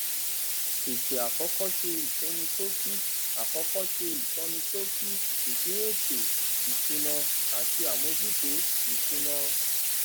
àtẹ àkọkọ ṣe ìsọníṣókí àkọkọ ṣe ìsọníṣókí ìpín ètò ìsúná àti àmójútó ìsúná